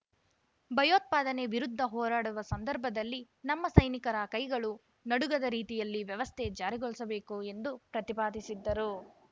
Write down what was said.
ಭಯೋತ್ಪಾದನೆ ವಿರುದ್ಧ ಹೋರಾಡುವ ಸಂದರ್ಭದಲ್ಲಿ ನಮ್ಮ ಸೈನಿಕರ ಕೈಗಳು ನಡುಗದ ರೀತಿಯಲ್ಲಿ ವ್ಯವಸ್ಥೆ ಜಾರಿಗೊಳಿಸಬೇಕು ಎಂದು ಪ್ರತಿಪಾದಿಸಿದ್ದರು